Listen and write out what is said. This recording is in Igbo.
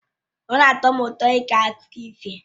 Ọ na-atọ m ụtọ ige akụkọ ifo